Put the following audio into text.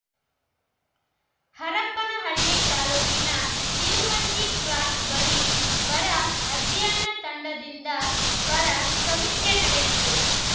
ಹರಪನಹಳ್ಳಿ ತಾಲೂಕಿನ ನಿಲುವಂಜಿ ಕ್ರಾಸ್‌ ಬಳಿ ಬರ ಅಧ್ಯಯನ ತಂಡದಿಂದ ಬರ ಸಮೀಕ್ಷೆ ನಡೆಯಿತು